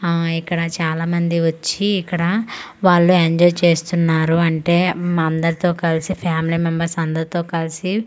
ఆ ఇక్కడ చాలా మంది వచ్చి ఇక్కడ వాళ్ళు ఎంజాయ్ చేస్తున్నారు అంటే ఉమ్ అందరితో కలిసి ఫ్యామిలీ మెంబర్స్ తో కలిసి ఫుడ్ తి--